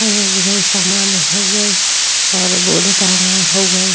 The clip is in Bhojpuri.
और उहे सामना हवे और बोर्ड टंगा हवे।